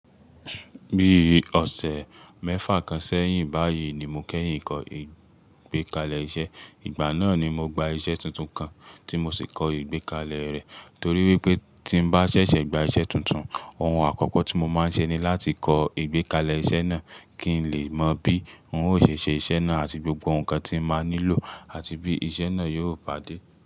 Bíi ọ̀sẹ̀ mẹ́fa kan sẹ́yìn báyìí ni mo kẹ́yìn kọ́ ìgbékalẹ̀ iṣẹ́. Ìgbà náà ni mo gba iṣẹ́ tuntun kan tí mo sì kọ ìgbékalẹ̀ rẹ̀ torí wípé tí n bá ṣẹ̀ṣẹ̀ gba iṣẹ́ tuntun, ohun àkọ́kọ́ tí mo máa ń ṣe ni láti kọ ìgbékalẹ̀ iṣẹ́ náà kí n lè mọ bí wọn ó ṣe ṣe iṣẹ́ náà àti gbogbo nǹkan tí máa nílò àti bí iṣẹ́ náà yóò pàdé.